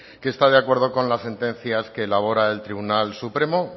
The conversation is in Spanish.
que está de acuerdo con las sentencias que elabora el tribunal supremo